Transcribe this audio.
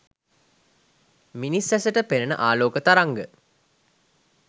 මිනිස් ඇසට පෙනෙන ආලෝක තරංග